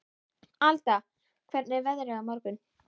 Alda, hvernig er veðrið á morgun?